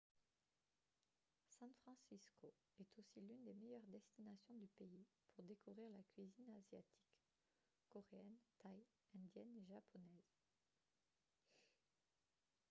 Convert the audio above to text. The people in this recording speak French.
san francisco est aussi l'une des meilleures destinations du pays pour découvrir la cuisine asiatique coréenne thaï indienne et japonaise